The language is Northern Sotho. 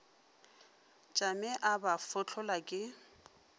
tšame o ba fahlolla ke